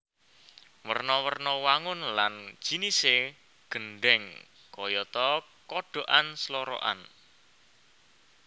Werna werna wangun lan jinisé gendhèng kayata kodhokan slorokan